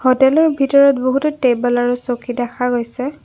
হোটেলৰ ভিতৰত বহুতো টেবল আৰু চকী দেখা গৈছে।